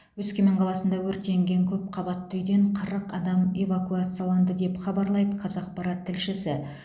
өскемен қаласында өртенген көпқабатты үйден қырық адам эвакуацияланды деп хабарлайды қазақпарат тілшісі